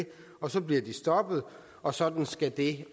og så bliver de stoppet og sådan skal det